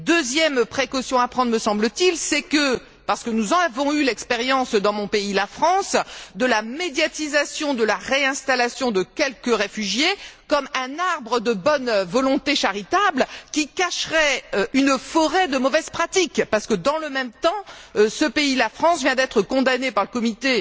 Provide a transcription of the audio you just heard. Deuxième précaution à prendre, me semble t il, c'est parce que nous en avons eu l'expérience dans mon pays, la France celle de la médiatisation de la réinstallation de quelques réfugiés, comme un arbre de bonne volonté charitable qui cacherait une forêt de mauvaises pratiques, parce que, dans le même temps, ce pays, la France, vient d'être condamné par le comité